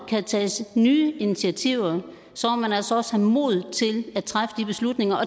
kan tages nye initiativer så må man altså også have modet til at træffe de beslutninger